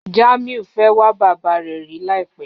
Jamiu fẹ́ wà bàbá rẹ̀ rí làìpẹ̀